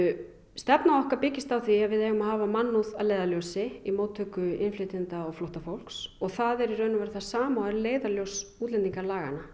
stefna okkar byggist á því að við eigum að hafa mannúð að leiðarljósi í móttöku innflytjenda og flóttafólks það er það sama og er leiðarljós